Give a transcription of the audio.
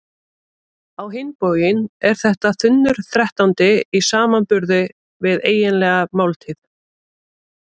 Á hinn bóginn er þetta þunnur þrettándi í samanburði við eiginlega máltíð.